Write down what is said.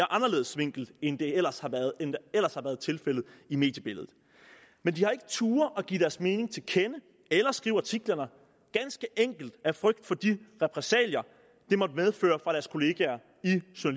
anderledes vinkel end det ellers har været tilfældet i mediebilledet men de har ikke turdet give deres mening til kende eller skrive artiklerne ganske enkelt af frygt for de repressalier det måtte medføre fra deres kollegaer